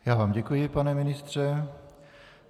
Já vám děkuji, pane ministře.